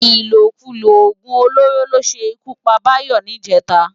Ilókúló ógún ólóró ló ṣé kú pá Bayo nijètá